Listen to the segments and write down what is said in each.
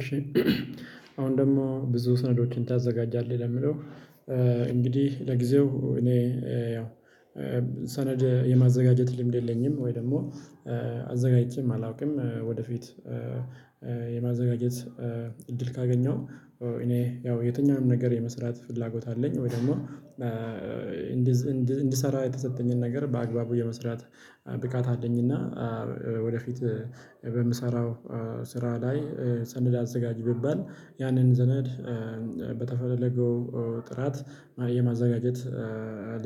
እሺ አሁን ደግሞ ብዙ ስነዶችን ታዘጋጃለህ ለሚለው? እንግዲህ ለጊዜው እኔ ያው ሰነድ የማዘጋጀት ልምድ የለኝም ወይ ደግሞ አላውቅም። ወደፊት የማዘጋጀት እድል ካገኘሁ እኔ ያው የትኛውም ነገር የመስራት ፍላጎት አለኝ ወይ ደግሞ። እንድሰራ የተሰጠኝን ነገር በአግባቡ የመስራት ብቃት አለኝ እና ወደፊት በምሰራው ስራ ላይ ሰነድ አዘጋጅ ብባል ያንን ሰነድ በተፈለገው ጥራት የማዘጋጀት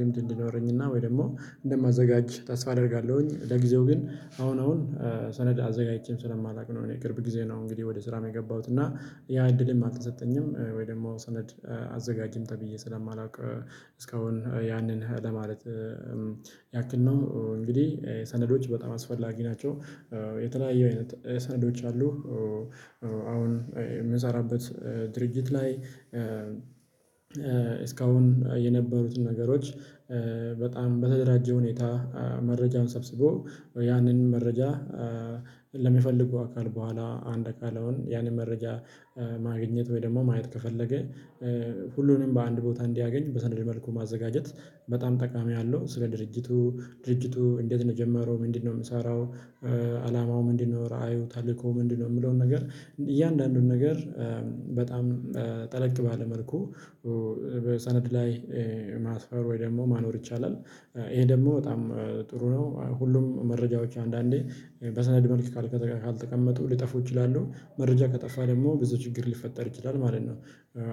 ልምድ እንዲኖረኝና ወይ ደግሞ እንደማዘጋጅ ተስፋ አደርጋለሁኝ። ለጊዜው ግን አሁን አሁን ሰነድ አዘጋጅቼም ስለማላውቅ ነው እኔ ቅርብ ጊዜ ነው እንግዲህ ወደ ስራ የገባሁት እና ያ እድልም አልተሰጠኝም ወይ ደግሞ ሰነድ አዘጋጅም ተብዬ ስለማላውቅ እስካሁን ያንን ለማለት ያክል ነው እንግዲህ ሰነዶች በጣም አስፈላጊ ናቸው። የተለያየ አይነቶች ሰነዶች አሉ። አሁን የምንሰራበት ድርጅት ላይ እስካሁን የነበሩትን ነገሮች በጣም በተደራጀ ሁኔታ መረጃን ሰብስቦ ያንን መረጃ ለሚፈልጉ አካል በኋላ አንድ አካል አሁን ያንን መረጃ ማግኘት ወይ ደግሞ ማየት ከፈለገ ሁሉንም በአንድ ቦታ እንዲያገኝ በሰንደል መልኩ ማዘጋጀት በጣም ጠቃሚ አለው። ስለ ድርጅቱ ድርጅቱ እንዴት ነው የጀመረው ምንድነው የሚሰራው? አላማው ምንድነው? ራእዩ ታልኮ ምንድነው? የምለውን ነገር እያንዳንዱን ነገር በጣም ጠለቅ ባለ መልኩ በሰነድ ላይ ማስፈር ወይ ደግሞ ማኖር ይቻላል። ይሄ ደግሞ በጣም ጥሩ ነው። ሁሉም መረጃዎች አንዳንዴ በሰነድ መልክ ካልተቀመጡ ሊጠፉ ይችላሉ። መረጃ ከጠፋ ደግሞ ብዙ ችግር ሊፈጠር ይችላል ማለት ነው።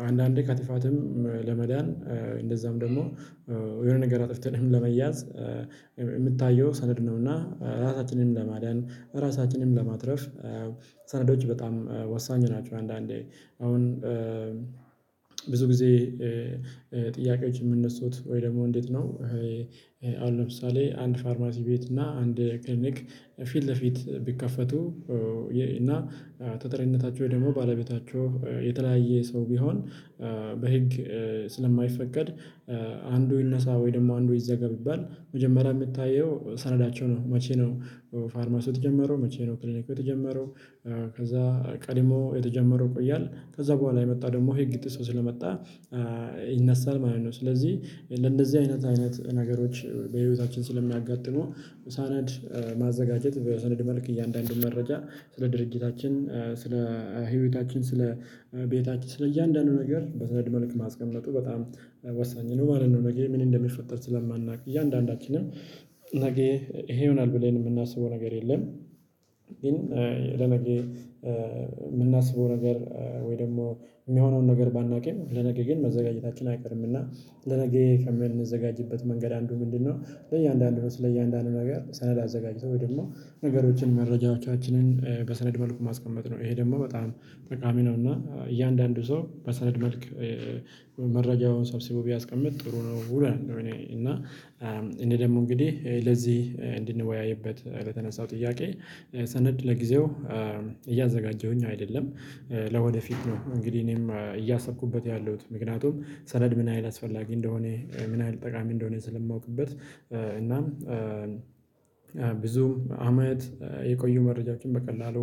አንዳንዴ ከጥፋትም ለመዳን እንደዛም ደግሞ የሆነ ነገር አጥፍተንም ለመያዝ የምታየው ሰነድ ነውና ራሳችንንም ለማዳን ራሳችንንም ለማትረፍ ሰነዶች በጣም ወሳኝ ናቸው። አንዳንዴ አሁን ብዙ ጊዜ ጥያቄዎች የሚነሱት ወይ ደግሞ እንዴት ነው? አሁን ለምሳሌ አንድ ፋርማሲ ቤት እና አንድ ክሊኒክ ፊት ለፊት ቢከፈቱ እና ተጠሪነታቸው ወይ ደግሞ ባለቤታቸው የተለያየ ሰው ቢሆን በህግ ስለማይፈቀድ አንዱ ይነሳ ወይ ደግሞ አንዱ ይዘጋ ቢባል መጀመሪያ የምታየው ሰነዳቸው ነው። መቼ ነው? ፋርማሲው የተጀመረው መቼ ነው ክሊኒኩ የተጀመረው? ከዛ ቀድሞ የተጀመረው ይቆያል ከዛ በኋላ የመጣ ደግሞ ህግ ጥሶ ስለመጣ ይነሳል ማለት ነው። ስለዚህ ለእነዚህ አይነት አይነት ነገሮች በህይወታችን ስለሚያጋጥሙ ሰነድ ማዘጋጀት በሰነድ መልክ እያንዳንዱን መረጃ ስለ ድርጅታችን ስለ ህይወታችን ስለ ቤታችን ስለ እያንዳንዱ ነገር በሰንድ መልክ ማስቀመጡ በጣም ወሳኝ ነው ማለት ነው። ነገ ምን እንደሚፈጠር ስለማናውቅ እያንዳንዳችንም ነገ ይሄ ይሆናል ብለን የምናስበው ነገር የለም። ግን ለነገ ነገር ወይ ደግሞ የሚሆነውን ነገር ባናውቀኝ ለነገ ግን መዘጋጀታችን አይቀርም። እና ለነገ ከምንዘጋጅበት መንገድ አንዱ ምንድነው? ለእያንዳንዱ ነው ስለ እያንዳንዱ ነገር ሰነድ አዘጋጅቶ ወይ ደግሞ ነገሮችን መረጃዎቻችንን በሰነድ መልኩ ማስቀመጥ ነው። ይሄ ደግሞ በጣም ጠቃሚ ነው። እና እያንዳንዱ ሰው በሰነድ መልክ መረጃውን ሰብስቦ ቢያስቀምጥ ጥሩ ነው እላለሁ። እኔ እና እኔ ደግሞ እንግዲህ ለዚህ እንድንወያይበት ለተነሳው ጥያቄ ሰነድ ለጊዜው እያዘጋጀሁኝ አይደለም። ለወደፊት ነው እንግዲህ እኔም እያሰብኩበት ያለሁት ምክንያቱም ሰነድ ምን ያህል አላስፈላጊ እንደሆነ ምን ያህል ጠቃሚ እንደሆነ ስለማውቅበት እናም ብዙም አመት የቆዩ መረጃዎችን በቀላሉ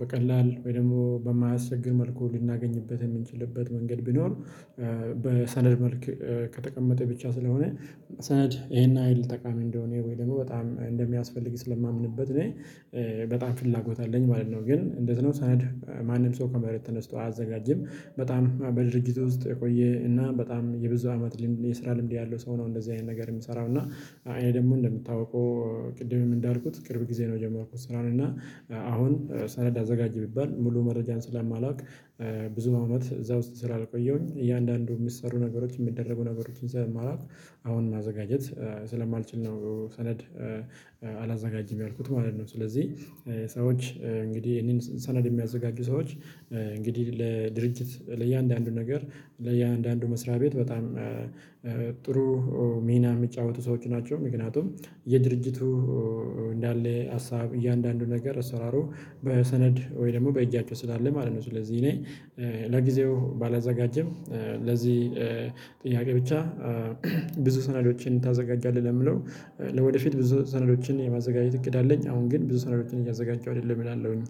በቀላል ወይ ደግሞ በማያስቸግር መልኩ ልናገኝበት የምንችልበት መንገድ ቢኖር በሰነድ መልክ ከተቀመጠ ብቻ ስለሆነ ሰነድ ይሄን ያህል ጠቃሚ እንደሆነ ወይ ደግሞ በጣም እንደሚያስፈልግ ስለማምንበት እኔ በጣም ፍላጎት አለኝ ማለት ነው። ግን እንደዚህ ነው ሰነድ ማንም ሰው ከመሬት ተነስቶ አያዘጋጅም። በጣም በድርጅቱ ውስጥ የቆየ እና በጣም የብዙ አመት የስራ ልምድ ያለው ሰው ነው እንደዚህ አይነት ነገር የሚሰራው። እና እኔ ደግሞ እንደምታውቀው ቅድምም እንዳልኩት ቅርብ ጊዜ ነው የጀመርኩት። ስራውን እና አሁን ሰነድ አዘጋጅ ብባል ሙሉ መረጃን ስለማላውቅ ብዙ አመት እዛ ውስጥ ስላልቆየሁኝ እያንዳንዱ የሚሰሩ ነገሮች የሚደረጉ ነገሮችን ስለማላቅ አሁን ማዘጋጀት ስለማልችል ነው። ሰነድ አላዘጋጅም ያልኩት ማለት ነው። ስለዚህ ሰዎች እንግዲህ እኔን ሰነድ የሚያዘጋጁ ሰዎች እንግዲህ ለድርጅት ለእያንዳንዱ ነገር ለእያንዳንዱ መስሪያ ቤት በጣም ጥሩ ሚና የሚጫወቱ ሰዎች ናቸው። ምክንያቱም የድርጅቱ እንዳለ ሀሳብ እያንዳንዱ ነገር እሰራሩ በሰነድ ወይ ደግሞ በእጃቸው ስላለ ማለት ነው። ስለዚህ እኔ ለጊዜው ባላዘጋጀም ለዚህ ጥያቄ ብቻ ብዙ ሰናዶችን ታዘጋጃለህ ለሚለው ወደፊት ብዙ ሰነዶችን የማዘጋጀት እቅድ አለኝ። አሁን ግን ብዙ ሰነዶችን እያዘጋጀሁ አይደለም እላለሁኝ።